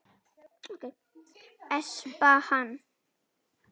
Espa hann.